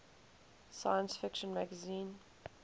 science fiction magazine